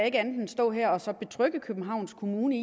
ikke andet end stå her og så betrygge københavns kommune